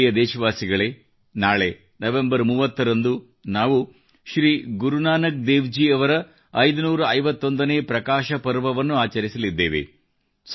ನನ್ನ ಪ್ರಿಯ ದೇಶವಾಸಿಗಳೇ ನಾಳೆ 30 ನವೆಂಬರ್ ನಂದು ನಾವು ಶ್ರೀ ಗುರುನಾನಕ್ ದೇವ್ ಜಿ ಅವರ 551 ನೇ ಪ್ರಕಾಶ ಪರ್ವವನ್ನು ಆಚರಿಸಲಿದ್ದೇವೆ